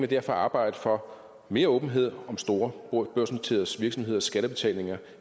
derfor arbejde for mere åbenhed om store børsnoterede virksomheders skattebetalinger